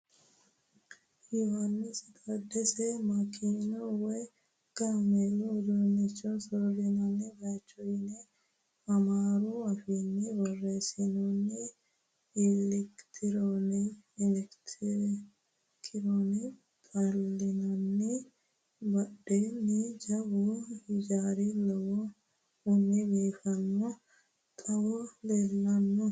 Yohaannisi taaddese makiinu woyi kaameelu udiinnicho soorrinanni bayicho yine amaaru afiinni borreessinoonni. Ailkete kiirono xallinoonni. Badheenni jawu ijaari leellannohu biinffilleho xawe leellanno.